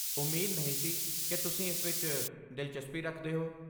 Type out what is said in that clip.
ਉਮੀਦ ਨਹੀਂ ਸੀ ਕਿ ਤੁਸੀਂ ਇਸ ਵਿੱਚ ਦਿਲਚਸਪੀ ਰੱਖਦੇ ਹੋ।